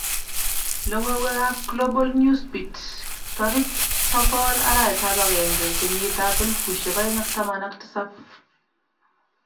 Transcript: Logowek apGlobal Newsbeat 10001/09/2017